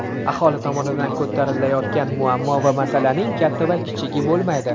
aholi tomonidan ko‘tarilayotgan muammo va masalaning katta va kichigi bo‘lmaydi.